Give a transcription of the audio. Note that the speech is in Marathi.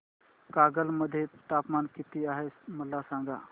कागल मध्ये तापमान किती आहे मला सांगा